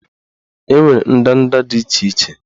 Enwere ndanda dị iche iche